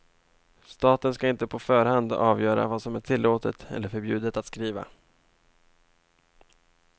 Staten ska inte på förhand avgöra vad som är tillåtet eller förbjudet att skriva.